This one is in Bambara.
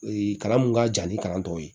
kalan mun ka jan ni kalan tɔ ye